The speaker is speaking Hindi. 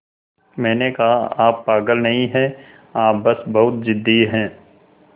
मैंने कहा आप पागल नहीं हैं आप बस बहुत ज़िद्दी हैं